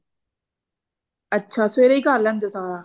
ਅੱਛਾ ਸਵੇਰੇ ਹੀ ਕਰ ਲੈਂਦੇ ਹੋ ਸਾਰਾ